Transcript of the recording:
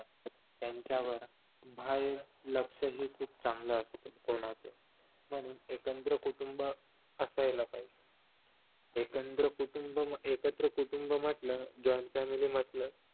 त्यांच्या बाहेर लक्षही खूप चांगलं असतात कोणाचं म्हणून एकत्र कुटुंब असायला पाहिजे एकत्र कुटुंब एकत्र कुटुंब म्हंटल joint family म्हंटल